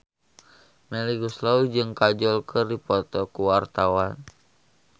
Melly Goeslaw jeung Kajol keur dipoto ku wartawan